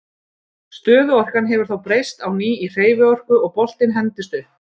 Stöðuorkan hefur þá breyst á ný í hreyfiorku og boltinn hendist upp.